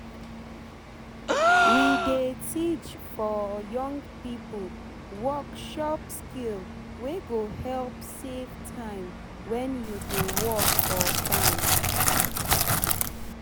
we dey teach for young pipo work shop skill wey go help safe time wen u dey work for farm